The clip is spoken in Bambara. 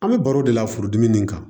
An bɛ baro de la furudimi nin kan